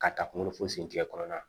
Ka taa kunkolo fo sen tigɛ kɔnɔna